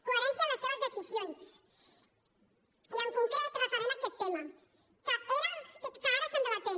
coherència en les seves decisions i en concret referent a aquest tema que ara estem debatent